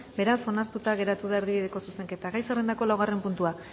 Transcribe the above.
beraz onartuta geratu da erdibideko zuzenketa gai zerrendako laugarren puntua